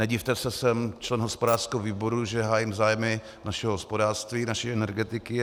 Nedivte se, jsem člen hospodářského výboru, že hájím zájmy našeho hospodářství, naší energetiky.